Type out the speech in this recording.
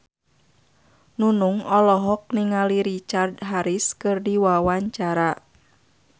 Nunung olohok ningali Richard Harris keur diwawancara